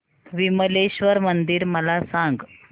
विमलेश्वर मंदिर मला सांग